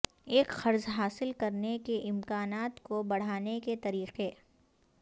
ایک قرض حاصل کرنے کے امکانات کو بڑھانے کے طریقے